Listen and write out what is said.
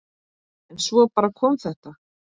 En svo bara kom þetta.